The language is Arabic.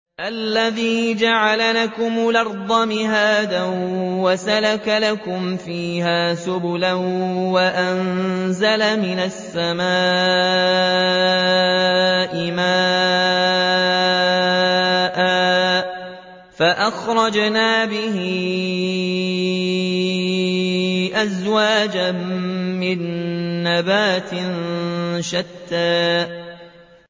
الَّذِي جَعَلَ لَكُمُ الْأَرْضَ مَهْدًا وَسَلَكَ لَكُمْ فِيهَا سُبُلًا وَأَنزَلَ مِنَ السَّمَاءِ مَاءً فَأَخْرَجْنَا بِهِ أَزْوَاجًا مِّن نَّبَاتٍ شَتَّىٰ